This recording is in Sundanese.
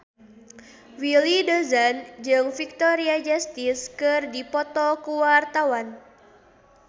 Willy Dozan jeung Victoria Justice keur dipoto ku wartawan